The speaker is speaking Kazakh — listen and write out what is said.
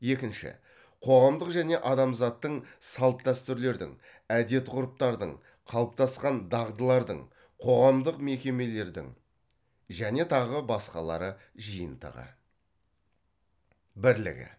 екінші қоғамдық және адамзаттың салт дәстүрлердің әдет ғұрыптардың қалыптасқан дағдылардың қоғамдық мекемелердің және тағы басқалары жиынтығы бірлігі